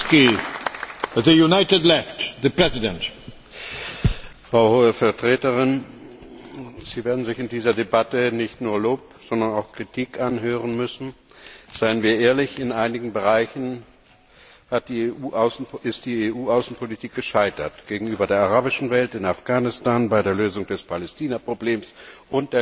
Herr Präsident! Frau Hohe Vertreterin, Sie werden sich in dieser Debatte nicht nur Lob, sondern auch Kritik anhören müssen. Seien wir ehrlich, in einigen Bereichen ist die EU Außenpolitik gescheitert gegenüber der arabischen Welt, in Afghanistan, bei der Lösung des Palästina Problems und der Konflikte in unserer östlichen Nachbarschaft.